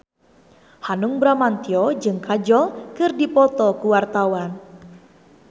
Hanung Bramantyo jeung Kajol keur dipoto ku wartawan